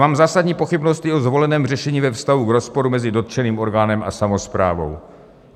Mám zásadní pochybnosti o zvoleném řešení ve vztahu k rozporu mezi dotčeným orgánem a samosprávou.